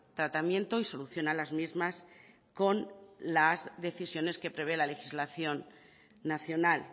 tratamiento y solución a las mismas con las decisiones que prevé la legislación nacional